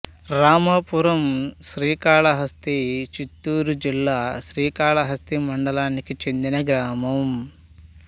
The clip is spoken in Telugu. రామాపురం శ్రీకాళహస్తి చిత్తూరు జిల్లా శ్రీకాళహస్తి మండలానికి చెందిన గ్రామం